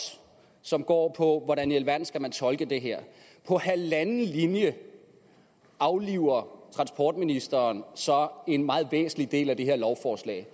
som går på hvordan i alverden man skal tolke det her på halvanden linje afliver transportministeren så en meget væsentlig del af det her lovforslag